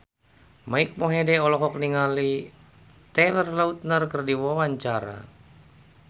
Mike Mohede olohok ningali Taylor Lautner keur diwawancara